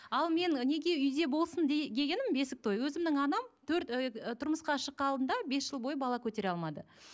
ал мен неге үйде болсын дегенім бесік той өзімнің анам төрт ы тұрмысқа шыққан алдында бес жыл бойы бала көтере алмады